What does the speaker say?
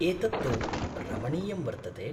एतत् तु रमणीयं वर्तते।